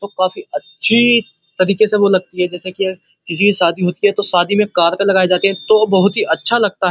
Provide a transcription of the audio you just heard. और काफी अच्छी तरीके से वो लगती है जैसे की किसी की शादी होती है तो शादी में कार की लगायी जाती हैं तो बहोत ही अच्छा लगता है।